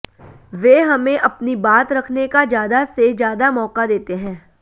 वे हमें अपनी बात रखने का ज्यादा से ज्यादा मौका देते हैं